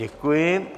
Děkuji.